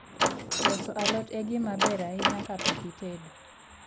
Loso alot e gima ber ahinya kapok itedo